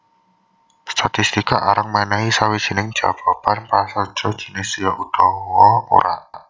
Statistika arang mènèhi sawijining jawaban prasaja jinis ya utawa ora